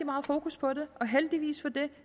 meget fokus på det og heldigvis for det